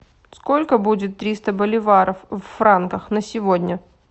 сколько будет триста боливаров в франках на сегодня